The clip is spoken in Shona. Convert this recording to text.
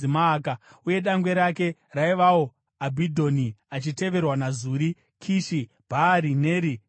uye dangwe rake raivawo Abhidhoni, achiteverwa naZuri, Kishi, Bhaari, Neri, Nadhabhi,